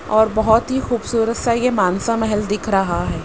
और बहोत ही खूबसूरत सा ये मानसा महल दिख रहा है।